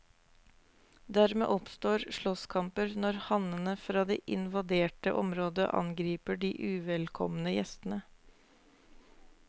Dermed oppstår slåsskamper når hannene fra det invaderte området angriper de uvelkomne gjestene.